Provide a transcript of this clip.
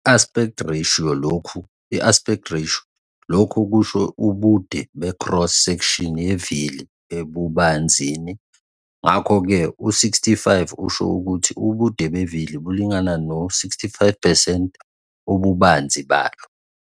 I-aspect ratio - lokhu kusho ubude becross section yevili ebubanzini, ngakho-ke u65 usho ukuthi ubude bevili bulingana no-65 percent wobubanzi balo.